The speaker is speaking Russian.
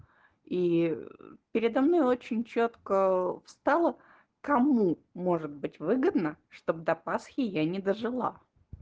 и передо мной очень чётко встала кому может быть выгодно чтобы до пасхи я не дожила